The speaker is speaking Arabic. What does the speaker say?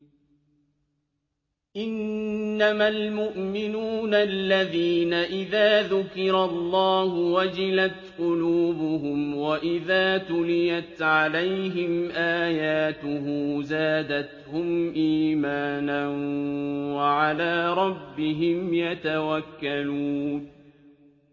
إِنَّمَا الْمُؤْمِنُونَ الَّذِينَ إِذَا ذُكِرَ اللَّهُ وَجِلَتْ قُلُوبُهُمْ وَإِذَا تُلِيَتْ عَلَيْهِمْ آيَاتُهُ زَادَتْهُمْ إِيمَانًا وَعَلَىٰ رَبِّهِمْ يَتَوَكَّلُونَ